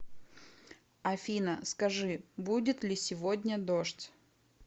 афина скажи будет ли сегодня дождь